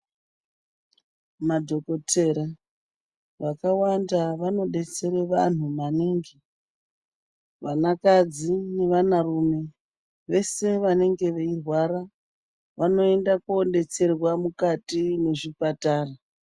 Madhokotera vakawanda vanodetsere vanhu maningi, vanakadzi nevanarume, vese vanenge veirwara vanoenda kuodetserwa mukati mezvipatara.